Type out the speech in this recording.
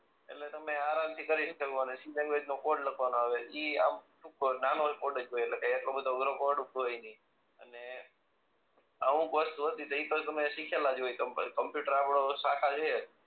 એટલે તમે આરામ થી કરી શકો અને સી લેન્ગવેજ નો કોડ લખવાનો આવે ઈ આમ ઉપર નાનો જ કોડ હોય એટલો બધો અધરો કોડ હોય નહી અને અમુક વસ્તુ હતી તો ઈ તમે સીખેલા જ હોય તમે કોમ્પ્યુટર આપણો શાખા છે